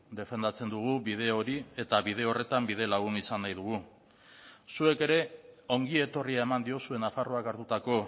defendatzen dugu bide hori eta bide horretan bidelagun izan nahi dugu zuek ere ongietorria eman diozue nafarroak hartutako